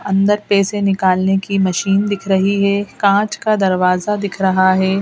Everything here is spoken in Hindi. अंदर पैसे निकालने की मशीन दिख रही है काँच का दरवाजा दिख रहा है.